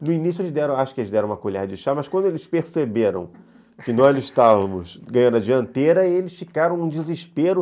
No início, acho que eles deram uma colher de chá, mas quando eles perceberam que nós estávamos ganhando a dianteira, eles ficaram um desespero.